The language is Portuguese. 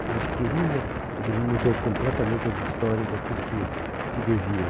Ele falou que queria, ele mudou completamente as histórias daquilo que que devia.